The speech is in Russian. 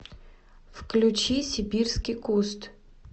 включи сибирский куст